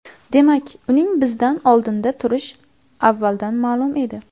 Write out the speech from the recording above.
Demak, uning bizdan oldinda turishi avvaldan ma’lum edi.